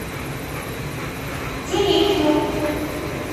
терехину